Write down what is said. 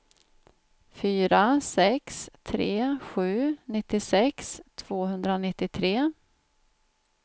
fyra sex tre sju nittiosex tvåhundranittiotre